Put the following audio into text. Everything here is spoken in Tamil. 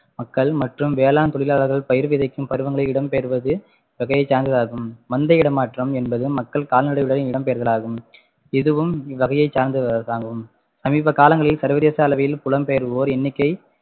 மக்கள் மற்றும் வேளாண் தொழிலாளர்கள் பயிர் விதைக்கும் பருவங்களில் இடம்பெயர்வது வகையை சார்ந்ததாகும் மந்தை இடமாற்றம் என்பது மக்கள் கால்நடைகளுடன் இடம்பெயர்தல் ஆகும் இதுவும் இவ்வகையை சார்ந்ததாகும் சமீப காலங்களில் சர்வதேச அளவில் புலம்பெயர்வோர் எண்ணிக்கை